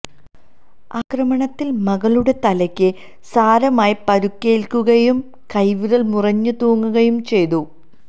ആക്രമണത്തില് മകളുടെ തലയ്ക്ക് സാരമായി പരുക്കേല്ക്കുകയും കൈവിരല് മുറിഞ്ഞു തൂങ്ങുകയും ചെയ്തു